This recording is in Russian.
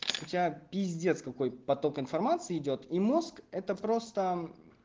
у тебя пиздец какой поток информации идёт и мозг это просто